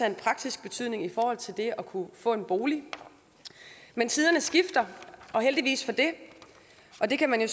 en praktisk betydning i forhold til det at kunne få en bolig men tiderne skifter og heldigvis for det og det kan man jo